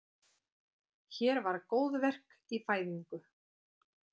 Hér var góðverk í fæðingu.